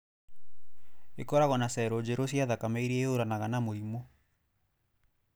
Ĩkoragwo na cello njerũ cia thakame iria ĩhũranaga na mũrimũ.